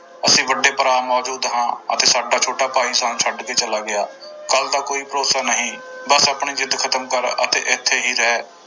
ਅਸੀਂ ਵੱਡੇ ਭਰਾ ਮੌਜੂਦ ਹਾਂ ਅਤੇ ਸਾਡਾ ਛੋਟਾ ਭਾਈ ਸਾਨੂੰ ਛੱਡ ਕੇ ਚਲਾ ਗਿਆ, ਕੱਲ੍ਹ ਦਾ ਕੋਈ ਭਰੋਸਾ ਨਹੀਂ, ਬਸ ਆਪਣੀ ਜਿੱਦ ਖਤਮ ਕਰ ਅਤੇ ਇੱਥੇ ਹੀ ਰਹਿ।